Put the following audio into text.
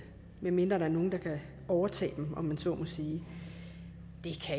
medmindre der er nogle der kan overtage dem om jeg så må sige